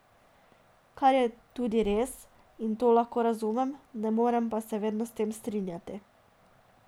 Kar je tudi res, in to lahko razumem, ne morem se pa vedno s tem strinjati.